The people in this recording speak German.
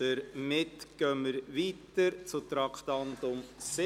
Wir fahren weiter mit dem Traktandum 37: